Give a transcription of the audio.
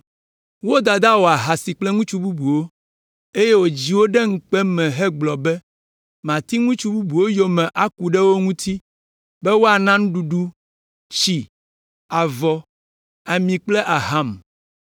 Wo dada wɔ ahasi kple ŋutsu bubuwo, eye wodzi wo ɖe ŋukpe me hegblɔ be, ‘Mati ŋutsu bubuwo yome aku ɖe wo ŋuti, be woana nuɖuɖu, tsi, avɔ, ami kple aham.’